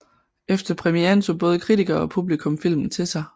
Efter premieren tog både kritikere og publikum filmen til sig